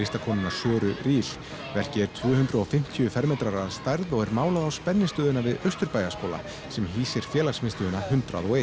Söru verkið er tvö hundruð og fimmtíu fermetrar að stærð og er málað á spennistöðina við Austurbæjarskóla sem hýsir félagsmiðstöðina hundrað og